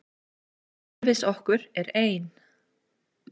Umhverfis okkur er ein